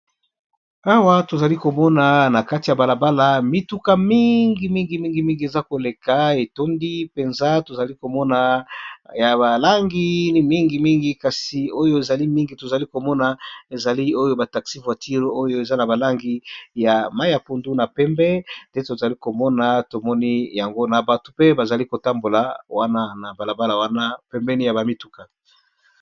awa tozali komona na kati ya balabala mituka mingimingimingimingi eza koleka etondi mpenza tozali komona ya balangii mingimingi kasi oyo ezali mingi tozali komona ezali oyo bataxi voatire oyo eza na balangi ya mai ya pundu na pembe nde tozali komona tomoni yango na bato mpe bazali kotambola wana na balabala wana pembeni ya bamituka